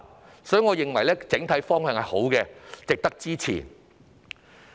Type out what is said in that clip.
就此，我認為整體方向正確，值得支持。